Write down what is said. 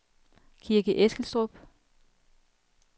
Kirke Eskilstrup